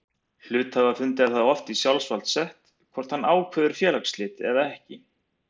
Hluthafafundi er það oft í sjálfsvald sett hvort hann ákveður félagsslit eða ekki.